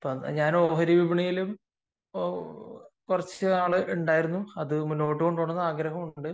ഞാൻ ഓഹരി വിപണിയിലും കുറച്ചു നാൾ ഉണ്ടായിരുന്നു. അത് മുന്നോട്ട് കൊണ്ടുപോവണമെന്ന് ആഗ്രഹമുണ്ട്